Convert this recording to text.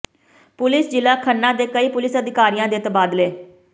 police ਜ਼ਿਲ੍ਹਾ ਖੰਨਾ ਦੇ ਕਈ ਪੁਲਿਸ ਅਧਿਕਾਰੀਆਂ ਦੇ ਤਬਾਦਲੇ